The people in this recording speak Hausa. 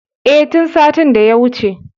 E, tin satin daya wuce.